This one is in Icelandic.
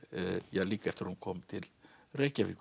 líka eftir að hún kom til Reykjavíkur